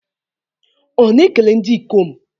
Ọ na-ekele ndị ikom?